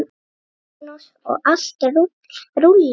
Magnús: Og allt rúllað?